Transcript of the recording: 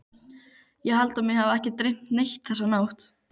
Ég held að mig hafi ekki dreymt neitt þessa nótt.